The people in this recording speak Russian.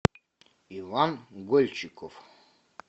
иван гольчиков